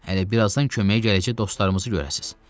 Hələ birazdan köməyə gələcək dostlarımızı görəcəksiz.